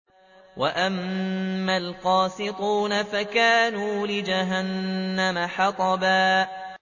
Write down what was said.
وَأَمَّا الْقَاسِطُونَ فَكَانُوا لِجَهَنَّمَ حَطَبًا